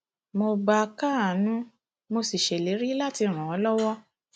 mo bá a káàánú mo sì ṣèlérí láti ràn án lọwọ